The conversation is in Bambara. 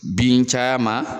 Bin caya ma